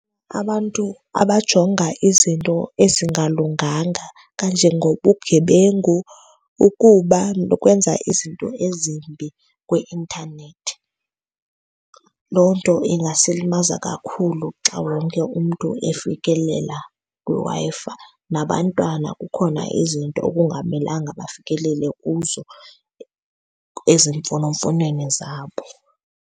Abantu abajonga izinto ezingalunganga kanje ngobugebengu ukuba nokwenza izinto ezimbi kwi-intanethi, loo nto ingasilimaza kakhulu xa wonke umntu efikelela kwiWi-Fi. Nabantwana kukhona izinto okungamelanga bafikelele kuzo ezimfonomfonweni zabo.